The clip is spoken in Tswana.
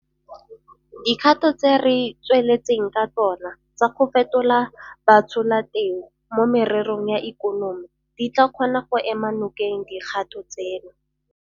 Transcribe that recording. Dikgato tse re tsweletseng ka tsona tsa go fetola batsholateu mo mererong ya ikonomi di tla kgona go ema nokeng dikgato tseno.